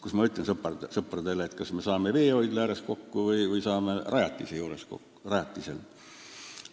Kuidas ma ütlen sõpradele: kas me saame veehoidla ääres kokku või saame rajatise juures kokku?